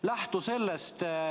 Lähtu sellest.